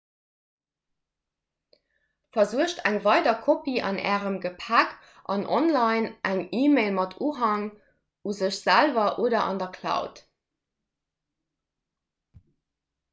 versuergt eng weider kopie an ärem gepäck an online eng e‑mail mat unhang un iech selwer oder an der cloud"